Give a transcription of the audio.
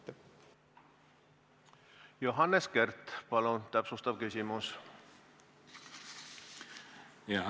Johannes Kert, palun täpsustav küsimus!